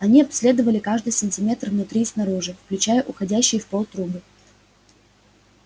они обследовали каждый сантиметр внутри и снаружи включая уходящие в пол трубы